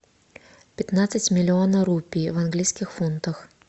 пятнадцать миллиона рупий в английских фунтах